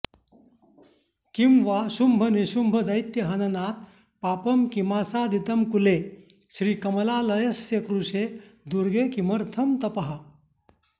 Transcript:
किं वा शुम्भनिशुम्भदैत्यहननात् पापं किमासादितं कूले श्रीकमलालयस्य कुरुषे दुर्गे किमर्थं तपः